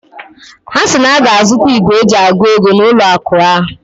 Ha si na ha ga-azụta igwe eji agụ ego na n'ụlọ akụ ha.